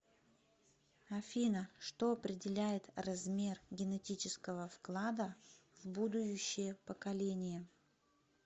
афина что определяет размер генетического вклада в будующее поколение